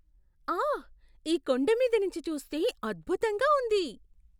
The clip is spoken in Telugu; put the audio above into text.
ఆహ్! ఈ కొండమీద నుంచి చూస్తే అద్భుతంగా ఉంది.